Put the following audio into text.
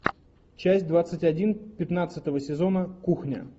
часть двадцать один пятнадцатого сезона кухня